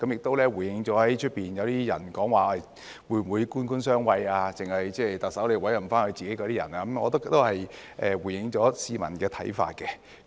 這回應了外界有些人說會否官官相衞，特首只會委任自己人，我覺得這也回應了市民的看法。